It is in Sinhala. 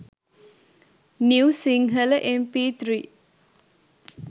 new sinhala mp3